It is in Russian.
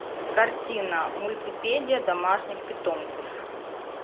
картина мультипедия домашних питомцев